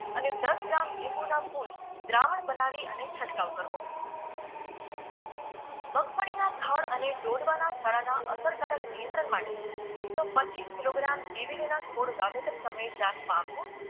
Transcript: અને દસ ગ્રામ લીંબુના ફુલ દ્રાવણ બનાવી અને છંટકાવ કરવો મગફળીના થડ અને ડોડવાના સડાના અસરકારક નિયંંત્રણ માટે એકસો પચીસ કિલોગ્રામ દિવેલીના ખોળ વાવેતર સમયે ચાસમાં આપવો